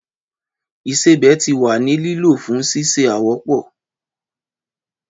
Ìsẹbè ti wa ni lilo fun sise awopọ.